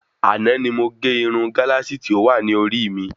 Àná ni mo gé Irun Galasi tí o wa ni orí mi